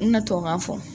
N bɛna tubabukan fɔ